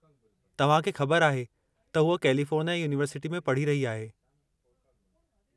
तव्हां खे ख़बरु आहे त हूअ कैलिफोर्निया युनिवर्सिटीअ में पढ़ी रही आहे।